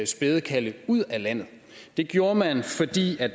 spædekalve ud af landet det gjorde man fordi